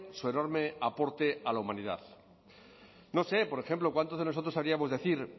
su enorme aporte a la humanidad no sé por ejemplo cuántos de nosotros decir